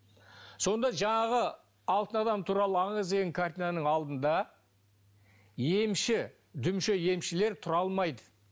сонда жаңағы алтын адам туралы аңыз деген картинаның алдында емші дүмше емшілер тұра алмайды